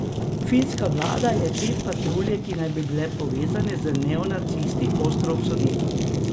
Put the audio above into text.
Finska vlada je te patrulje, ki naj bi bile povezane z neonacisti, ostro obsodila.